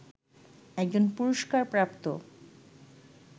একজন পুরস্কারপ্রাপ্ত